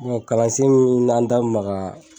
kalansen min n'an da maga